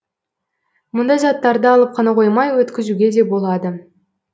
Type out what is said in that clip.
мұнда заттарды алып қана қоймай өткізуге де болады